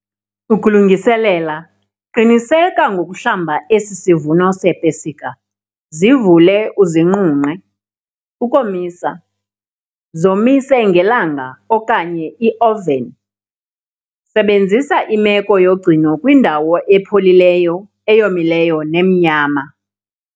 Ukulungiselela, qiniseka ngokuhlamba esi sivuno sepesika, zivule uzinqunqe. Ukomisa, zomise ngelanga okanye ioveni. Sebenzisa imeko yogcino kwindawo epholileyo, eyomileyo nemnyama.